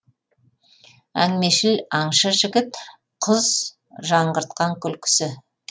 әңгімешіл аңшы жігіт құз жаңғыртқан күлкісі